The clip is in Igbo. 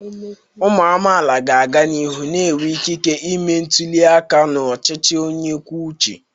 Ụmụ amaala ga-aga n'ihu na-enwe ikike ịme ntuli aka n'ọchịchị onye kwuo uche.